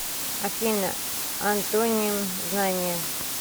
афина антоним знание